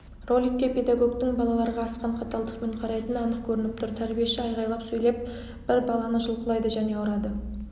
роликте педагогтың балаларға асқан қаталдықпен қарайтыны анық көрініп тұр тәрбиеші айғайлап сөйлеп бір баланыжұлқылайды және ұрады